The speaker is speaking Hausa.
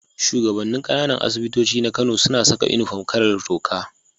Shugaban nin Kananan asibitoci na Kano suna Saka inufom kalar toka